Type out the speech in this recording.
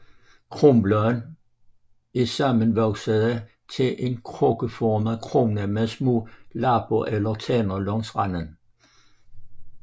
Kronbladene er sammenvoksede til en krukkeformet krone med små lapper eller tænder langs randen